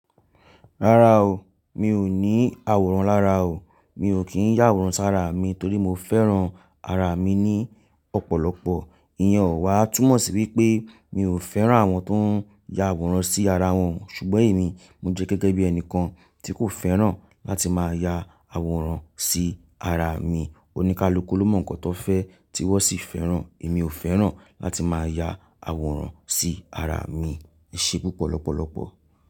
Rárá o, mi ò ní àwòrán lára o. Mi ò kí ń yá àwòrán sára mi torí mo fẹ́ràn ara mi ní ọ̀pọ̀lọpọ̀. Ìyẹn ò wáà túmọ̀ sí wípé mi ò fẹ́ràn àwọn tó ń ya àwòrán sí ara wọn, ṣùgbọ́n èmi mo jẹ́ gẹ́gẹ́ bí ẹni kan tí kò fẹ́ràn láti máa ya àwòrán sí ara mi. Oníkálukú ló mọ nǹkan tó fẹ́ tí wọ́n sì fẹ́ràn. Èmi ò fẹ́ràn láti máa ya àwòrán sí ara mi. E ṣé púpọ̀ lọ́pọ̀lọpọ̀.